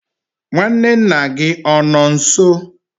nwanne nna gị ọ nọ nso?